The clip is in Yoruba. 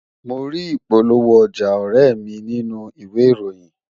Mo rí ìpolówó ọjà ọ̀rẹ́e mi nínú ìwé ìròyìn